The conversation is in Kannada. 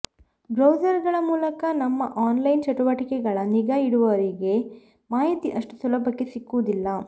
ಬ್ರೌಸರ್ಗಳ ಮೂಲಕ ನಮ್ಮ ಆನ್ಲೈನ್ ಚಟುವಟಿಕೆಗಳ ನಿಗಾ ಇಡುವವರಿಗೆ ಮಾಹಿತಿ ಅಷ್ಟು ಸುಲಭಕ್ಕೆ ಸಿಕ್ಕುವುದಿಲ್ಲ